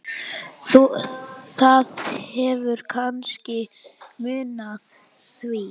Það hefur kannski munað því.